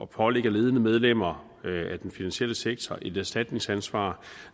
pålægge ledende medlemmer af den finansielle sektor et erstatningsansvar